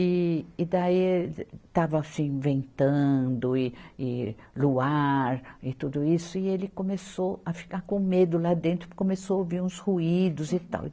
E, e daí estava assim ventando e e luar e tudo isso e ele começou a ficar com medo lá dentro, começou a ouvir uns ruídos e tal.